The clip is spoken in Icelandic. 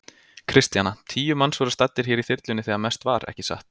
Kristjana: Tíu manns voru staddir hér í þyrlunni þegar mest var, ekki satt?